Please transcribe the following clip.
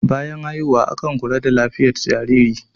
bayan haihuwa akan kula da lafiyat jariri